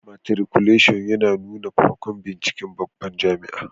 Matriculashin ya nuna farkon binciken babban jami'a